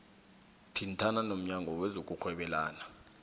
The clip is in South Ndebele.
thintana nomnyango wezokurhwebelana